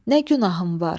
Nə günahım var?